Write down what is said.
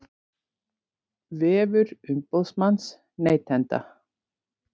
Vefur umboðsmanns neytenda